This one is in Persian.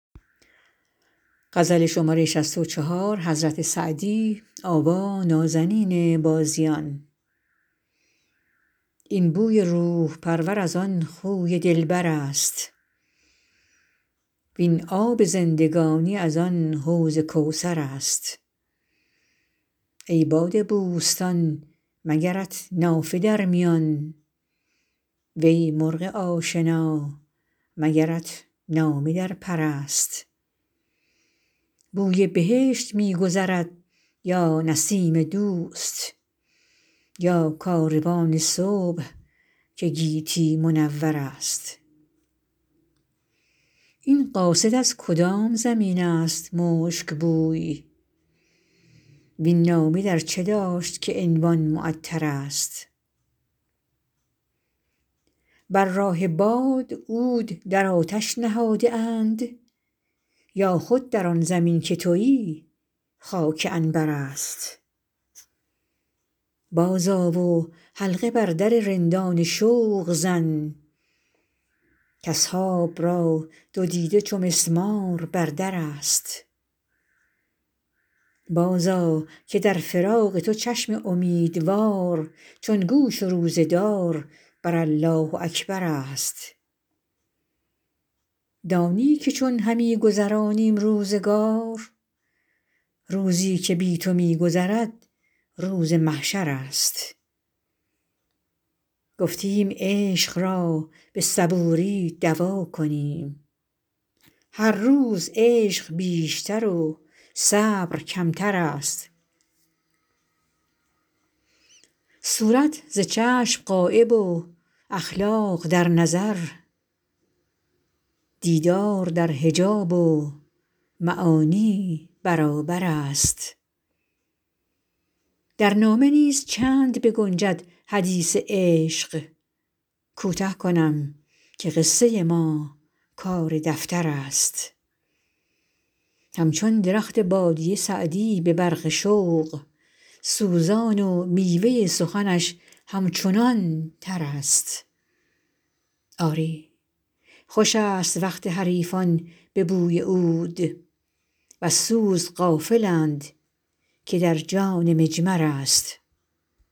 این بوی روح پرور از آن خوی دلبر است وین آب زندگانی از آن حوض کوثر است ای باد بوستان مگرت نافه در میان وی مرغ آشنا مگرت نامه در پر است بوی بهشت می گذرد یا نسیم دوست یا کاروان صبح که گیتی منور است این قاصد از کدام زمین است مشک بوی وین نامه در چه داشت که عنوان معطرست بر راه باد عود در آتش نهاده اند یا خود در آن زمین که تویی خاک عنبر است بازآ و حلقه بر در رندان شوق زن کاصحاب را دو دیده چو مسمار بر در است بازآ که در فراق تو چشم امیدوار چون گوش روزه دار بر الله اکبر است دانی که چون همی گذرانیم روزگار روزی که بی تو می گذرد روز محشر است گفتیم عشق را به صبوری دوا کنیم هر روز عشق بیشتر و صبر کمتر است صورت ز چشم غایب و اخلاق در نظر دیدار در حجاب و معانی برابر است در نامه نیز چند بگنجد حدیث عشق کوته کنم که قصه ما کار دفتر است همچون درخت بادیه سعدی به برق شوق سوزان و میوه سخنش همچنان تر است آری خوش است وقت حریفان به بوی عود وز سوز غافلند که در جان مجمر است